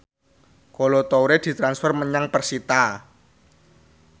Kolo Toure ditransfer menyang persita